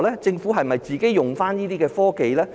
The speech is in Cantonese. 政府有否應用這些科技呢？